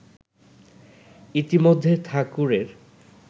ইতিমধ্যে ঠাকুরের